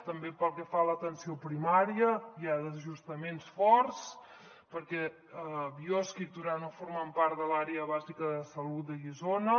també pel que fa a l’atenció primària hi ha desajustaments forts perquè biosca i torà no formen part de l’àrea bàsica de salut de guissona